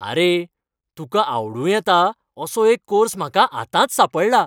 आरे, तुकां आवडूं येता असो एक कोर्स म्हाका आतांच सांपडला.